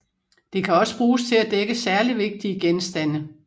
Det kan også bruges til at dække særligt vigtige genstande